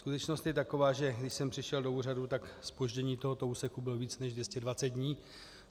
Skutečnost je taková, že když jsem přišel do úřadu, tak zpoždění tohoto úseku bylo více než 220 dní.